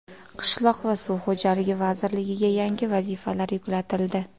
Qishloq va suv xo‘jaligi vazirligiga yangi vazifalar yuklatildi.